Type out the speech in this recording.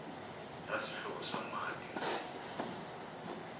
ra swihlovo swa mati ri